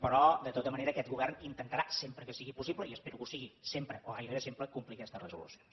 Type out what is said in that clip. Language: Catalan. però de tota manera aquest govern intentarà sempre que sigui possible i espero que ho sigui sempre o gairebé sempre complir aquestes resolucions